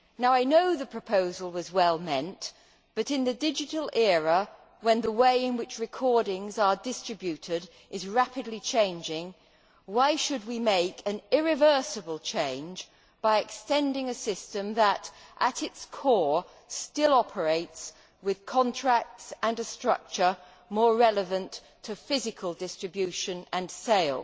I know the proposal was well meant, but in the digital era, when the way in which recordings are distributed is rapidly changing, why should we make an irreversible change by extending a system that, at its core, still operates with contracts and a structure more relevant to physical distribution and sale?